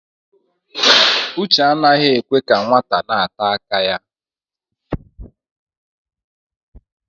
Uche anaghị ekwe ka nwata na-ata aka ya.